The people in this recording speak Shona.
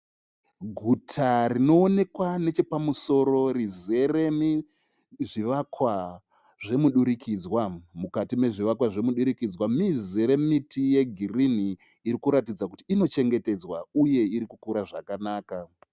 Guta rinoonekwa nechepamusoro rizere nezvivakwa zvemudurikidzwa. Mukati mezvivakwa zvemudurikidzwa muzere miti yegirinhi irikuratidza kuti inochengetedzwa uye iri kukura zvakanaka.